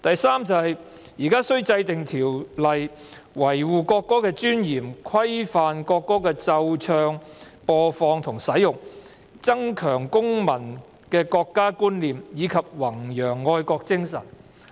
"3 現須制定條例維護國歌的尊嚴，規範國歌的奏唱、播放和使用，增強公民的國家觀念，以及弘揚愛國精神"。